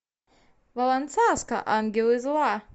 валланцаска ангелы зла